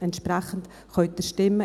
– Entsprechend können Sie stimmen.